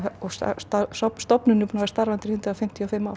stofnunin er búin að vera starfandi í hundrað fimmtíu og fimm ár